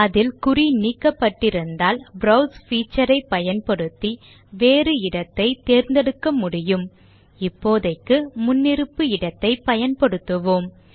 அதில் குறி நீக்கப்பட்டிருந்தால் ப்ரோவ்ஸ் feature ஐ பயன்படுத்தி வேறு இடத்தை தேர்ந்தெடுக்க முடியும் இப்போதைக்கு முன்னிருப்பு இடத்தை பயன்படுத்துவோம்